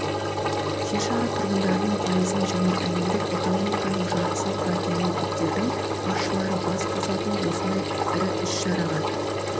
жер шары тұрғандарының пайызын және әлемдік экономиканың жартысын құрайтын мемлекеттердің басшылары бас қосатын осындай ірі іс-шараға